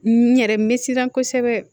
N yɛrɛ me siran kosɛbɛ